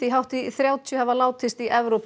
hátt í þrjátíu hafa látist í Evrópu